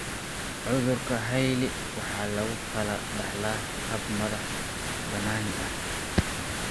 Cudurka Hailey Hailey waxa lagu kala dhaxlaa hab madax-bannaani ah.